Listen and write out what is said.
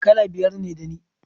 Kala biyar ne da ni